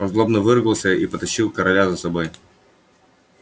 он злобно выругался и потащил короля за собой